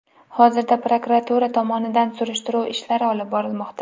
Hozirda prokuratura tomonidan surishtiruv ishlari olib borilmoqda.